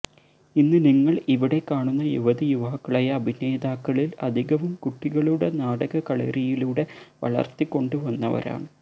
ഇന്ന് നിങ്ങള് ഇവിടെ കാണുന്ന യുവതി യുവാക്കളായ അഭിനേതാക്കളില് അധികവും കുട്ടികളുടെ നാടക കളരിയിലൂടെ വളര്ത്തി കൊണ്ടു വന്നവരാണ്